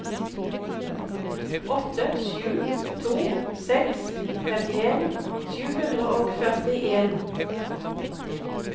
åtte sju to seks femtien sju hundre og førtien